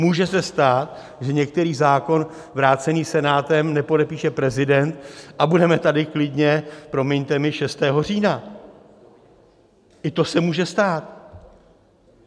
Může se stát, že některý zákon vrácený Senátem nepodepíše prezident a budeme tady klidně, promiňte mi, 6. října, i to se může stát.